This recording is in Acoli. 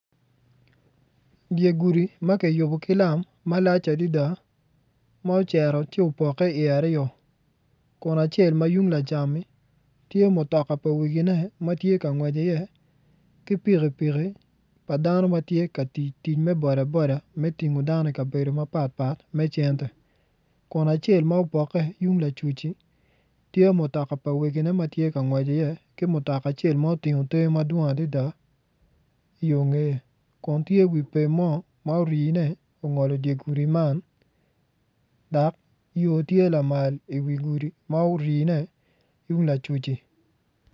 Dye gudi ma kiyubo ki lam malac adada ma ocito ci opokke iye aryo kun acel ma tung lacam-mi tye mutoka pa wekigene ma tye ka ngwec iye ki pikipiki pa dano ma tye ka tiyo tic me boda boda me tingo dano ikabedo mapatpat me cente kun acel ma opokke tung lacuc-ci tye mutoka pa wegine ma tye ka ngwec iye ki mutoka acel ma otingo te madwong adada iyo ngeye kun tye wi pem mo ma orine ongolo dye gudi man dok yo tye lamal iwi gudi ma orine tung lacuc-ci.